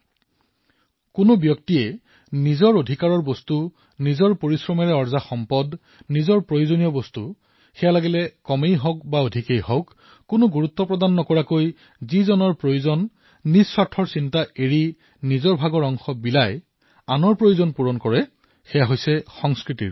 যেতিয়া কোনোবাই নিজৰ অধিকাৰৰ বস্তু নিজৰ পৰিশ্ৰমেৰে অৰ্জন কৰা বস্তু নিজৰ বাবে প্ৰয়োজনীয় বস্তু কমেই হওক অথবা বেছি এই বিষয়ে সমূলি চিন্তা নকৰি আন কোনো ব্যক্তিৰ প্ৰয়োজনীয়তালৈ লক্ষ্য কৰি নিজৰ কথা চিন্তা নকৰি নিজৰ অধিকাৰৰ অংশ বিলাই আনৰ প্ৰয়োজনীয়তা পূৰণ কৰে তেতিয়া ইয়াক সংস্কৃতি বুলি কোৱা হয়